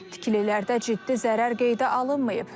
Tikililərdə ciddi zərər qeydə alınmayıb.